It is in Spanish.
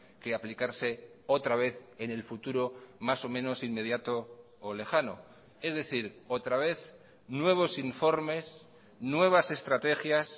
que aplicarse otra vez en el futuro más o menos inmediato o lejano es decir otra vez nuevos informes nuevas estrategias